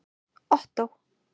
Ottó